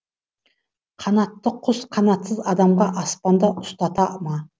қанатты құс қанатсыз адамға аспанда ұстата ма